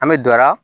An bɛ dɔ la